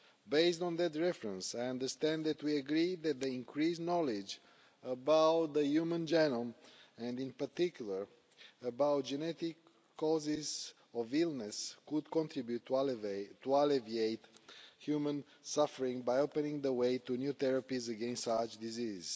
Based on that reference, I understand that we agree that increased knowledge about the human genome, and in particular about genetic causes of illness, could contribute to alleviating human suffering by opening the way to new therapies against such diseases.